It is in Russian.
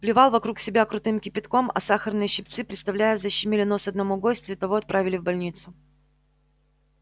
плевал вокруг себя крутым кипятком а сахарные щипцы представляешь защемили нос одному гостю и того отправили в больницу